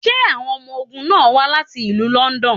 Ṣé awọn ọmọ ogun náà wá láti ìlú London?